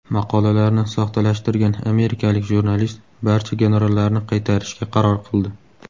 Maqolalarni soxtalashtirgan amerikalik jurnalist barcha gonorarlarni qaytarishga qaror qildi.